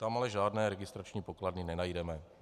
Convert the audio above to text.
Tam ale žádné registrační pokladny nenajdeme.